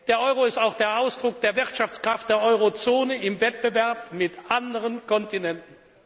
Er ist auch der Ausdruck der Wirtschaftskraft der Eurozone im Wettbewerb mit anderen Kontinenten.